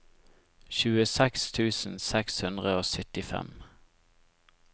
tjueseks tusen seks hundre og syttifem